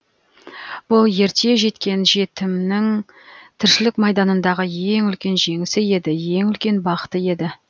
бұл ерте жеткен жетімнің тіршілік майданындағы ең үлкен жеңісі еді ең үлкен бақыты еді